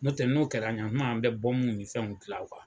N'o tɛ, n'o kɛra ɲan kuma an mɛ nin ni fɛnw dilan